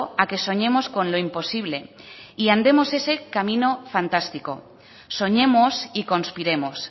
a que soñemos con lo imposible y andemos ese camino fantástico soñemos y conspiremos